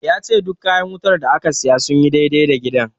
Ya ce duk kayan wutar da aka siya sun yi dai-dai da gidan.